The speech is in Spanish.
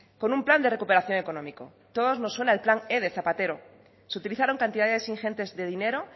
con un plan de recuperación económico a todos no suena el plan e de zapatero se utilizaron cantidades ingentes de dinero